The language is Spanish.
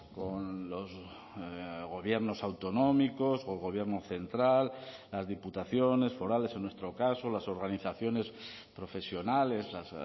con los gobiernos autonómicos o el gobierno central las diputaciones forales en nuestro caso las organizaciones profesionales las